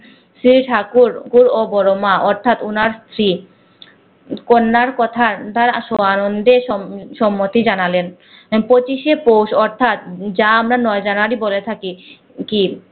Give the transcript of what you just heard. শ্রী ঠাকুর কুর ও বড় মা অথাৎ ওনার স্ত্রী কন্যার কথার আনন্দে সম স্মতি জানালেন পঁচিশে পোষ অথাৎ যা আমরা নয় জানুয়ারি বলে থাকি কি